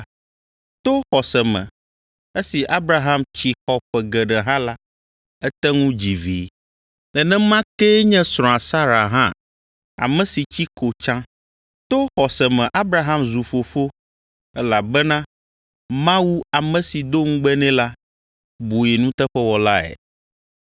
To xɔse me esi Abraham tsi xɔ ƒe geɖe hã la, ete ŋu dzi Vi. Nenema kee nye srɔ̃a Sara hã, ame si tsi ko tsã. To xɔse me Abraham zu fofo, elabena Mawu ame si do ŋugbe nɛ la, bui nuteƒewɔlae.